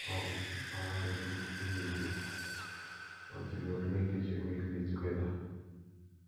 my um mama dey cook every day but we go clean kitchen weekly together